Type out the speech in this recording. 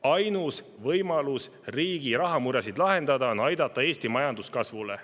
Ainus võimalus riigi rahamuresid lahendada on aidata Eesti majandus kasvule.